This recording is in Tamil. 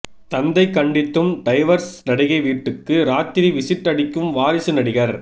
தந்தை கண்டித்தும் டைவர்ஸ் நடிகை வீட்டுக்கு ராத்திரி விசிட் அடிக்கும் வாரிசு நடிகர்